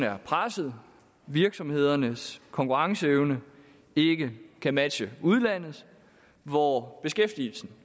er presset virksomhedernes konkurrenceevne ikke kan matche udlandets hvor beskæftigelsen